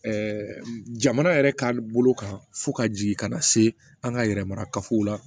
jamana yɛrɛ ka bolo kan fo ka jigin ka na se an ka yɛrɛ mara kafow la